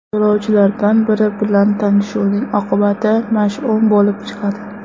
Yo‘lovchilardan biri bilan tanishuvning oqibati mash’um bo‘lib chiqadi.